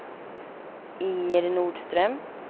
Inger Nordström